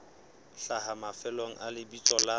hlaha mafelong a lebitso la